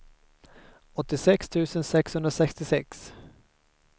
åttiosex tusen sexhundrasextiosex